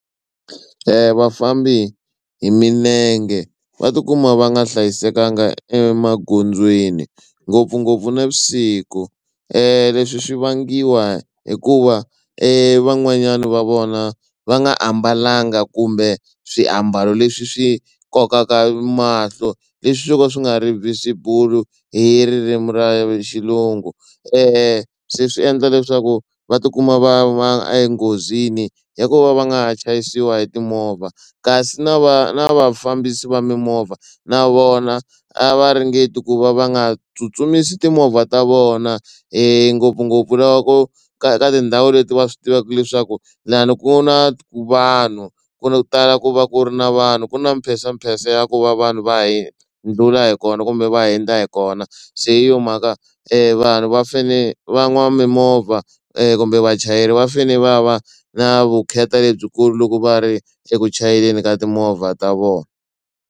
Vafambi hi milenge va tikuma va nga hlayisekanga emagondzweni ngopfungopfu navusiku leswi swi vangiwa hikuva evan'wanyana va vona va nga ambalanga kumbe swiambalo leswi swi kokaka mahlo leswi swo ka swi nga ri visible hi ririmi ra xilungu se swi endla leswaku va tikuma va va enghozini ya ku va va nga ha chayisiwa hi timovha kasi na va na vafambisi va mimovha na vona a va ringeti ku va va nga tsutsumisi timovha ta vona ngopfungopfu laha ku ka ka tindhawu leti va swi tivaka leswaku lani ku na vanhu ku tala ku va ku ri na vanhu ku na mpensampensa ya ku va vanhu va ndlhula hi kona kumbe va hindza hi kona se hi yo mhaka vanhu va fane van'wamimovha kumbe vachayeri va fane va va na vukheta lebyikulu loko va ri eku chayeleni ka timovha ta vona.